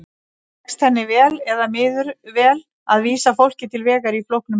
Tekst henni vel eða miður vel að vísa fólki til vegar í flóknum heimi?